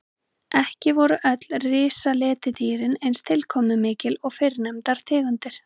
Ekki voru öll risaletidýrin eins tilkomumikil og fyrrnefndar tegundir.